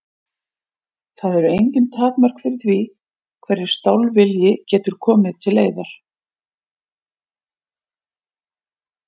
Það eru engin takmörk fyrir því hverju stálvilji getur til leiðar komið.